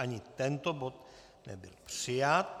Ani tento bod nebyl přijat.